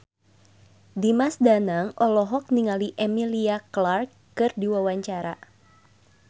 Dimas Danang olohok ningali Emilia Clarke keur diwawancara